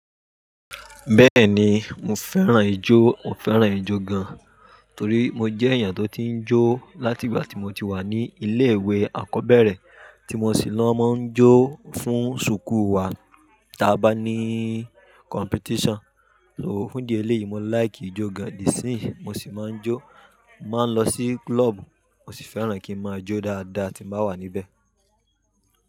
Bẹ́ẹ̀ ni, mo fẹ́ràn ijó, mo fẹ́ràn ijó gan. Torí mo jẹ́ èèyàn tó ti ń jó láti ìgbà tí mo ti wà ní ilé ìwé àkọ́bẹ̀rẹ̀, tí mo sì lọ máa ń jó fún sùkúù wa tí a bá ní competition. So, fun idi eleyi mo like ijo gan ni di isin yii mo si ma njo. Mo máa ń lọ sí club, mo sì fẹ́ràn kí n máa jó dáadáa tí nba wà níbẹ̀.